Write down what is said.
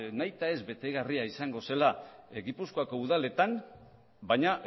nahita ez betegarria izango zela gipuzkoako udaletan baina